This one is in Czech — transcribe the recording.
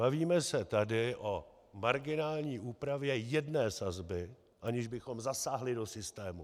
Bavíme se tady o marginální úpravě jedné sazby, aniž bychom zasáhli do systému.